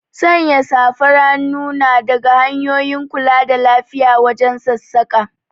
Sanya safar hannu na daga hanyoyin kula da lafiya wajen sassaƙa